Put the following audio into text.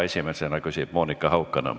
Esimesena küsib Monika Haukanõmm.